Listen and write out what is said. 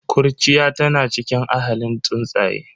Kurciya tana cikin ahalin tsuntsaye.